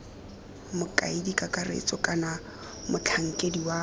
mokaedi kakaretso kana motlhankedi wa